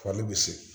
Fali bɛ segin